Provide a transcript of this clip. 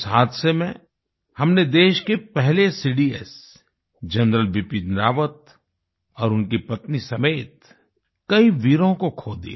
उस हादसे में हमने देश के पहले सीडीएस जनरल बिपिन रावत और उनकी पत्नी समेत कई वीरों को खो दिया